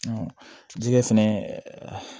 jɛgɛ fɛnɛ